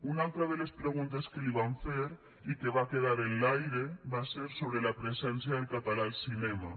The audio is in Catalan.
una altra de les preguntes que li vam fer i que va quedar en l’aire va ser sobre la presència del català al cinema